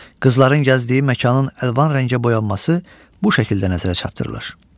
Qızların gəzdiyi məkanın əlvan rəngə boyanması bu şəkildə nəzərə çatdırılır.